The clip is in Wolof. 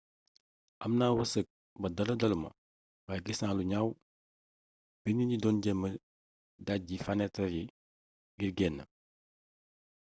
amna weerseek ba dara daluma waye gisna lu gnaw bi nit yi doon jéma dejji fanétar yi ngir génn